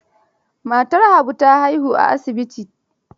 Matar Habu haihuwar asibiti ta yi.